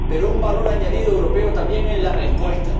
Pero un valor añadido europeo también en la respuesta.